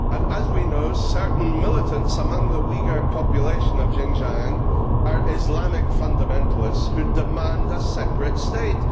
As we know, certain militants among the Uighur population of Xinjiang are Islamic fundamentalists who demand a separate state.